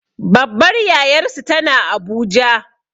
Babbar yayarsu tana abuja